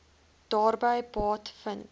daarby baat vind